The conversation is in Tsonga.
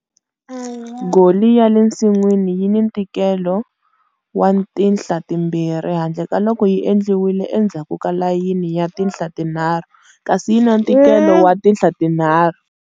Goli ya le nsin'wini yi ni ntikelo wa tinhla timbirhi, handle ka loko yi endliwe endzhaku ka layini ya tinhla tinharhu, kasi yi ni ntikelo wa tinhla tinharhu.